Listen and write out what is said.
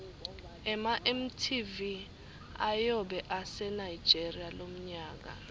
ema mtv ayobe ase nigeria lomnyaka